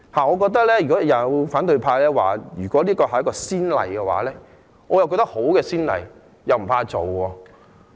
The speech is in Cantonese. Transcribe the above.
我覺得如果反對派議員說，這會打開一個先例，那麼我覺得這是一個好先例，不防打開。